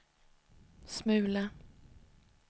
smula